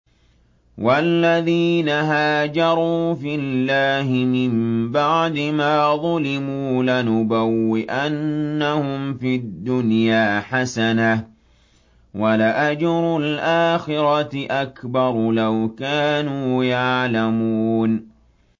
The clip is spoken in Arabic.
وَالَّذِينَ هَاجَرُوا فِي اللَّهِ مِن بَعْدِ مَا ظُلِمُوا لَنُبَوِّئَنَّهُمْ فِي الدُّنْيَا حَسَنَةً ۖ وَلَأَجْرُ الْآخِرَةِ أَكْبَرُ ۚ لَوْ كَانُوا يَعْلَمُونَ